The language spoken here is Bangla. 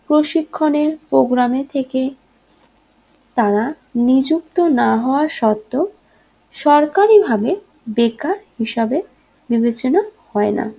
প্রশিক্ষণের program এ থেকে তারা নিযুক্ত না হওয়া সত্তো সরকারী ভাবে বেকার হিসাবে বিবেচনা হয়না